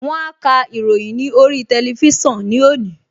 Wọ́n á ka ìròyìn ní orí tẹlifísàn ní òní